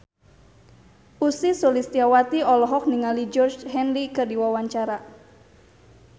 Ussy Sulistyawati olohok ningali Georgie Henley keur diwawancara